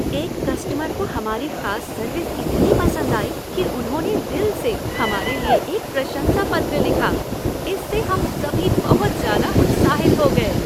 एक कस्टमर को हमारी खास सर्विस इतनी पसंद आई कि उन्होंने दिल से हमारे लिए एक प्रशंसा पत्र लिखा। इससे हम सभी बहुत ज़्यादा उत्साहित हो गए।